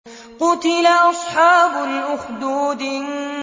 قُتِلَ أَصْحَابُ الْأُخْدُودِ